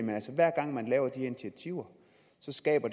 hver gang man her initiativer skaber